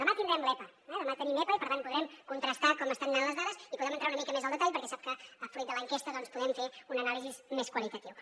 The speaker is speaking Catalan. demà tindrem l’epa eh demà tenim epa i per tant podrem contrastar com estan anant les dades i podrem entrar una mica més al detall perquè sap que fruit de l’enquesta doncs podem fer una anàlisi més qualitativa